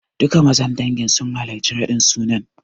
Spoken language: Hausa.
Duka mazan dangin sun halarci raɗin sunan.